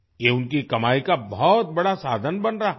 ये उनकी कमाई का बहुत बड़ा साधन बन रहा है